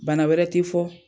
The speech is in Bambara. Bana wɛrɛ tɛ fɔ.